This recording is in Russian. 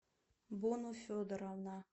бону федоровна